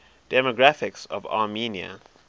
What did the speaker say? demographics of armenia